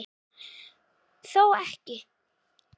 Þó ekki?